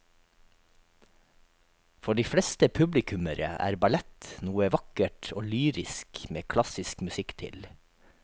For de fleste publikummere er ballett noe vakkert og lyrisk med klassisk musikk til.